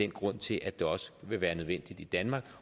grunden til at det også vil være nødvendigt i danmark